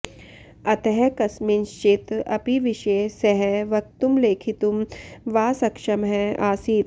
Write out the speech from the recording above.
अतः कस्मिँश्चित् अपि विषये सः वक्तुं लेखितुं वा सक्षमः आसीत्